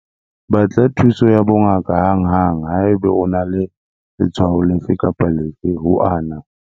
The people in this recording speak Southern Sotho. Batla thuso ya bongaka hanghang haeba o na le letshwao lefe kapa lefe ho ana.